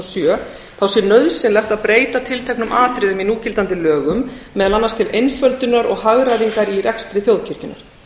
sjö þá sé nauðsynlegt að breyta tilteknum atriðum í núgildandi lögum meðal annars til einföldunar og hagræðingar í rekstri þjóðkirkjunnar